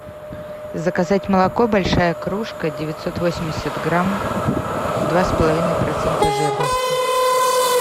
заказать молоко большая кружка девятьсот восемьдесят грамм два с половиной процента жирности